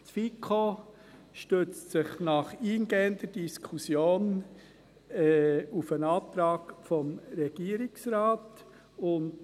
Die FiKo stützt sich nach eingehender Diskussion auf den Antrag des Regierungsrates.